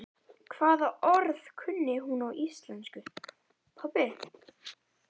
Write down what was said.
Hvaða orð kunni hún á íslensku, pabbi?